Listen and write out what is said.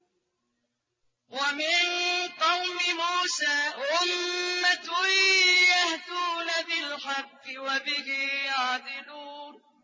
وَمِن قَوْمِ مُوسَىٰ أُمَّةٌ يَهْدُونَ بِالْحَقِّ وَبِهِ يَعْدِلُونَ